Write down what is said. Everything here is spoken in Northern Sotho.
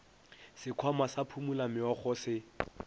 sekhwama sa phumula meokgo se